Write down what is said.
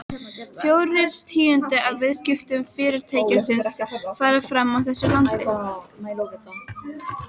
Fjórir tíundu af viðskiptum Fyrirtækisins fara fram í þessu landi.